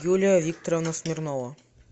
юлия викторовна смирнова